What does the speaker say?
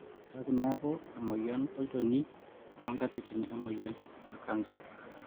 ebaiki neeku emoyian olnchoni toonkatitin emoyian e kansa.